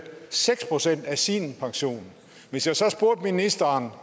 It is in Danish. seks procent af sin pension hvis jeg så spurgte ministeren